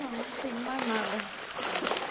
Não, não tenho mais nada.